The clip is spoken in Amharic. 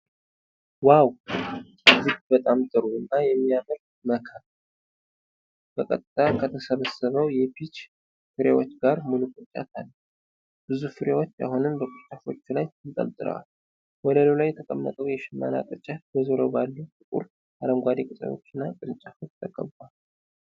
ዋው! እጅግ በጣም ጥሩ እና የሚያምር መከር! በቀጥታ ከተሰበሰበው የፒች ፍሬዎች ጋር ሙሉ ቅርጫት አለ። ብዙ ፍሬዎች አሁንም በቅርንጫፎች ላይ ተንጠልጥለዋል። ወለሉ ላይ የተቀመጠው የሽመና ቅርጫት በዙሪያው ባሉ ጥቁር አረንጓዴ ቅጠሎችና ቅርንጫፎች ተከቧል።